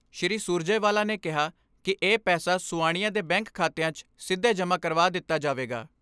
ਸ੍ਰੀ ਸੁਰਜੇਵਾਲਾ ਨੇ ਕਿਹਾ ਕਿ ਇਹ ਪੈਸਾ ਸੁਆਣੀਆਂ ਦੇ ਬੈਂਕ ਖਾਤਿਆਂ 'ਚ ਸਿੱਧੇ ਜਮ੍ਹਾਂ ਕਰਵਾ ਦਿੱਤਾ ਜਾਵੇਗਾ।